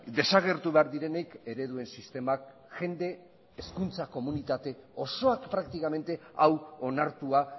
desagertu behar direnik ereduen sistemak jende hezkuntza komunitate osoak praktikamente hau onartua